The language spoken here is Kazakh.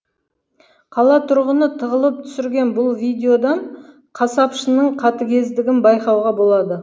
қала тұрғыны тығылып түсірген бұл видеодан қасапшының қатігездігін байқауға болады